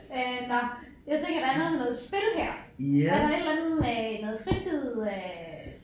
Øh nåh jeg tænker der er noget med noget spil her er der et eller andet med noget fritid øh